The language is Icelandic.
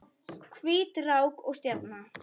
Hvít rák og stjarna